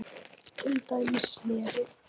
Til dæmis snæri.